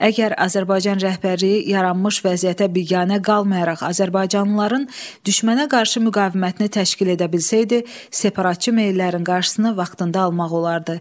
Əgər Azərbaycan rəhbərliyi yaranmış vəziyyətə biganə qalmayaraq azərbaycanlıların düşmənə qarşı müqavimətini təşkil edə bilsəydi, separatçı meyillərin qarşısını vaxtında almaq olardı.